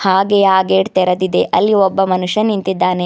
ಹಾಗೆ ಆ ಗೇಟ್ ತೆರೆದಿದೆ ಅಲ್ಲಿ ಒಬ್ಬ ಮನುಷ್ಯ ನಿಂತಿದಾನೆ.